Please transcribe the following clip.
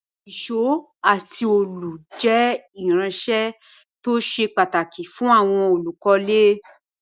Ìsó àti òòlù je irinsẹ́ to se pàtàkì fún àwon olùkólé